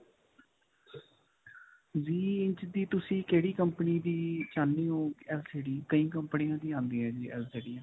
ਵੀਹ ਇੰਚ ਦੀ ਤੁਸੀਂ ਕਿਹੜੀ company ਦੀ ਚਾਹੁੰਦੇ ਹੋ LCD ਕਈ ਕੰਪਨੀ ਦੀ ਆਉਂਦੀ ਹੈ ਜੀ ਏਲਸੀਸੀਆਂ.